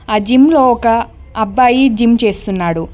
ఆ జిమ్ లో ఒక అబ్బాయి జిమ్ చేస్తున్నాడు.